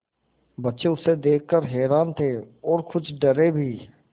बच्चे उसे देख कर हैरान थे और कुछ डरे भी